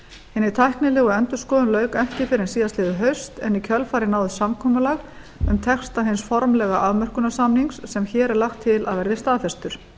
hinni tæknilegu endurskoðun lauk ekki fyrr en síðastliðið haust en í kjölfarið náðist samkomulag um texta hins formlega afmörkunarsamnings sem hér er lagt til að verði staðfestur